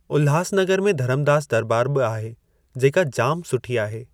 उल्हासनगर में धरमदास दरॿार बि आहे जेका जाम सुठी आहे।